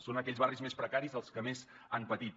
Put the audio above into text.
són aquells barris més precaris els que més han patit